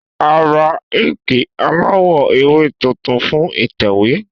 A ra inki alawọ ewe tuntun fun itẹwe